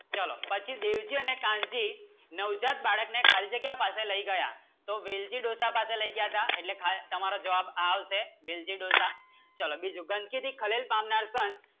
ચલો પછી દેવજી અને કાનજી નવજાત બાળકને ખાલી જગ્યા પાસે લઇ ગયા સો વેલજી ડોસા પાસે લઇ ગયા હતા તો એટલે તમારો જવાબ આ આવસે વેલજી ડોસા ચલો બીજો ગંદકીથી ભારે ખલેલ પામનાર સંત